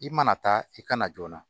I mana taa i kana joona